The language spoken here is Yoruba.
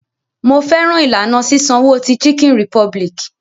Mo fẹ́ràn ìlànà sísanwo ti Chicken Republic.